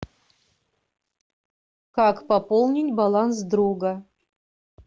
как пополнить баланс друга